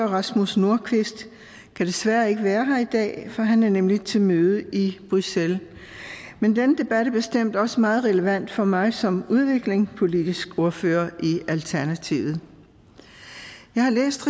rasmus nordqvist kan desværre ikke være her i dag for han er nemlig til møde i bruxelles men denne debat er bestemt også meget relevant for mig som udviklingspolitisk ordfører i alternativet jeg har læst